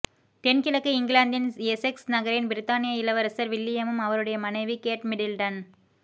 தென்கிழக்கு இங்கிலாந்தின் எசெக்ஸ் நகரில் பிரித்தானிய இளவரசர் வில்லியமும் அவருடைய மனைவி கேட் மிடில்டன